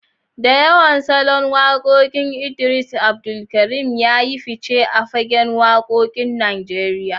Da yawan salon wakokinsa, Idris Abdulkarim ya yi fice a fagen wakokin Najeriya.